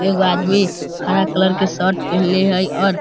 एगो आदमी हरा कलर के शर्ट पहलें हई और --